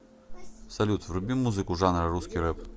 салют вруби музыку жанра русский рэп